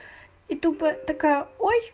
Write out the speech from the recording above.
и тупо такая ой